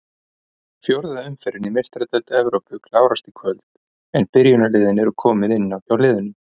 Fjórða umferðin í Meistaradeild Evrópu klárast í kvöld en byrjunarliðin eru komin inn hjá liðunum.